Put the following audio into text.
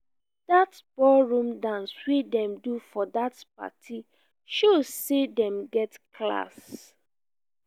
dat ballroom dance wey dem do for dat party show sey dem get class.